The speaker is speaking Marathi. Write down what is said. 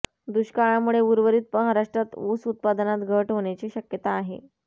दुष्काळामुळे उर्वरित महाराष्ट्रात ऊस उत्पादनात घट होण्याची शक्यता आहे